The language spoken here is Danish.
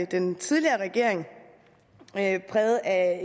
den tidligere regering præget af